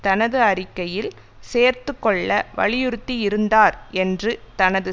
தனது அறிக்கையில் சேர்த்துகொள்ள வலியுறுத்தி இருந்தார் என்று தனது